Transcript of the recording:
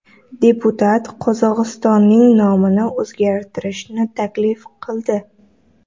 Deputat Qozog‘istonning nomini o‘zgartirishni taklif qildi.